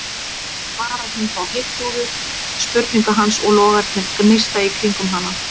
svarar hún þá heiftúðug spurningu hans og logarnir gneista í kringum hana.